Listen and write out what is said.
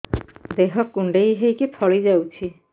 ଦେହ କୁଣ୍ଡେଇ ହେଇକି ଫଳି ଯାଉଛି